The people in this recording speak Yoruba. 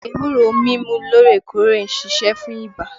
Ewúro mímu loorekoore ń ṣiṣẹ́ fún ibà